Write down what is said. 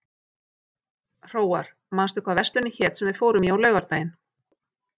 Hróar, manstu hvað verslunin hét sem við fórum í á laugardaginn?